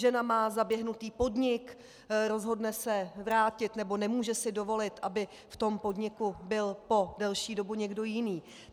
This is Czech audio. Žena má zaběhnutý podnik, rozhodne se vrátit, nebo nemůže si dovolit, aby v tom podniku byl po delší dobu někdo jiný.